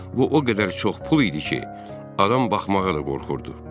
Bu o qədər çox pul idi ki, adam baxmağa da qorxurdu.